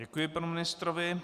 Děkuji panu ministrovi.